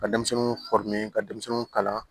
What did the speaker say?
Ka denmisɛnninw ka denmisɛnninw kalan